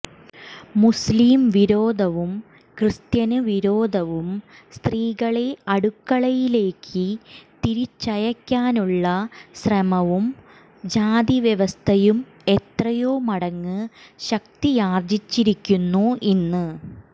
മുസ്ലീം വിരോധവും ക്രിസ്ത്യന് വിരോധവും സ്ത്രീകളെ അടുക്കളയിലേക്ക് തിരിച്ചയക്കാനുള്ള ശ്രമവും ജാതിവ്യവസ്ഥയും എത്രയോ മടങ്ങ് ശക്തിയാര്ജിച്ചിരിക്കുന്നു ഇന്ന്